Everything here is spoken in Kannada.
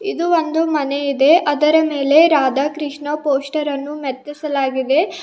ಇದು ಒಂದು ಮನೆ ಇದೆ ಅದರ ಮೇಲೆ ರಾಧಾಕೃಷ್ಣ ಪೋಸ್ಟರ್ ಅನ್ನು ಮೆತ್ತಿಸಲಾಗಿದೆ. ಮತ್---